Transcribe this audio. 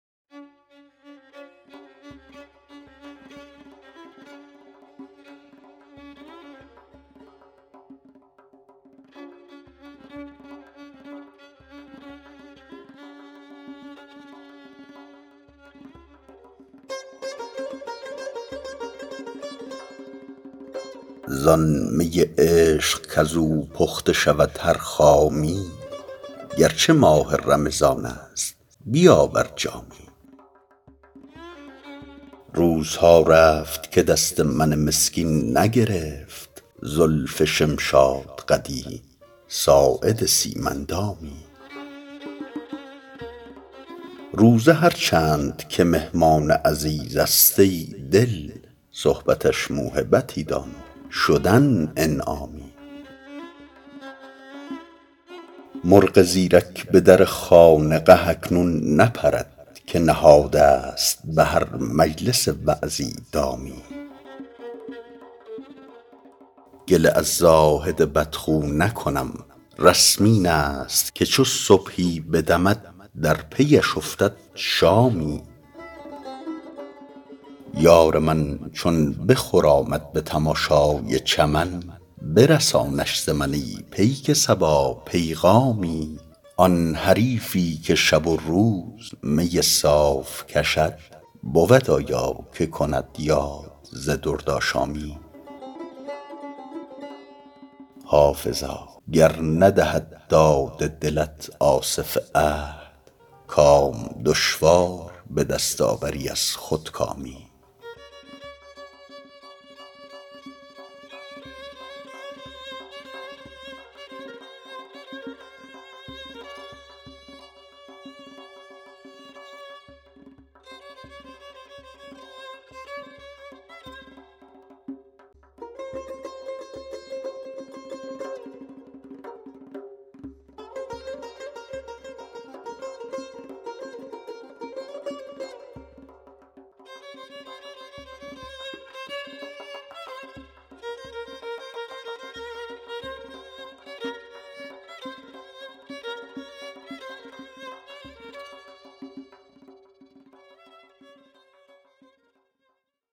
زان می عشق کز او پخته شود هر خامی گر چه ماه رمضان است بیاور جامی روزها رفت که دست من مسکین نگرفت زلف شمشادقدی ساعد سیم اندامی روزه هر چند که مهمان عزیز است ای دل صحبتش موهبتی دان و شدن انعامی مرغ زیرک به در خانقه اکنون نپرد که نهاده ست به هر مجلس وعظی دامی گله از زاهد بدخو نکنم رسم این است که چو صبحی بدمد در پی اش افتد شامی یار من چون بخرامد به تماشای چمن برسانش ز من ای پیک صبا پیغامی آن حریفی که شب و روز می صاف کشد بود آیا که کند یاد ز دردآشامی حافظا گر ندهد داد دلت آصف عهد کام دشوار به دست آوری از خودکامی